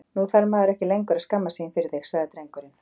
Nú þarf maður ekki lengur að skammast sín fyrir þig, sagði drengurinn.